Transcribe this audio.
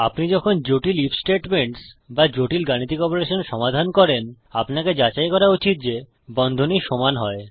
আপনি যখন জটিল আইএফ স্টেটমেন্টস বা জটিল গাণিতিক অপারেশন সমাধান করেন আপনাকে যাচাই করা উচিত যে বন্ধনী সমান হয়